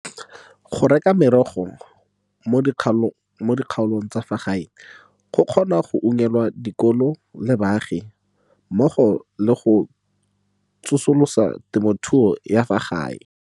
"Go reka merogo mo dikgaolong tsa fa gae go kgona go unngwela dikolo le baagi mmogo le go tsosolosa temothuo ya fa gae."